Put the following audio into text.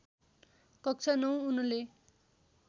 कक्षा ९ उनले